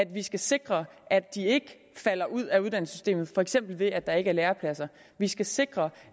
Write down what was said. vi skal sikre at de ikke falder ud af uddannelsessystemet for eksempel ved at der ikke er lærepladser vi skal sikre